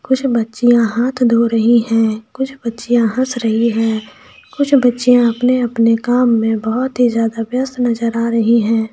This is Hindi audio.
कुछ बच्चियां हाथ धो रहीं हैं कुछ बच्चियां हंस रही है कुछ बच्चियां अपने अपने काम में बोहोत ही ज्यादा व्यस्त नजर आ रहीं है।